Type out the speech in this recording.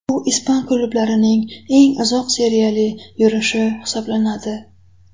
Bu ispan klublarining eng uzoq seriyali yurishi hisoblanadi.